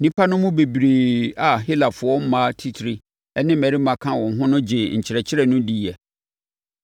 Nnipa no mu bebree a Helafoɔ mmaa atitire ne mmarima ka ho no gyee nkyerɛkyerɛ no diiɛ.